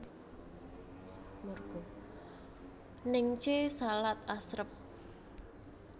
Naengchae salad asrep